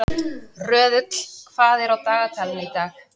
Röðull, hvað er á dagatalinu í dag?